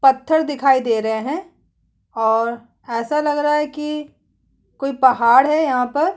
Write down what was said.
पत्तर दिखाई दे रहें हैं और ऐसा लगा रहा है की कोई पहाड़ है यहाँ पर।